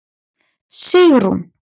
Sigrún